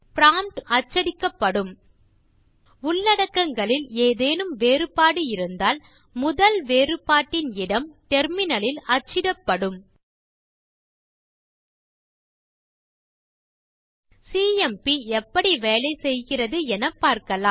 prompt மட்டும் அச்சிடப்படும் உள்ளடக்கங்களில் ஏதேனும் வேறுபாடு இருந்தால் முதல் வேறுபாட்டின் இடம் டெர்மினல் லில் அச்சிடப்படும் சிஎம்பி எப்படி வேலை செய்கிறது என பார்க்கலாம்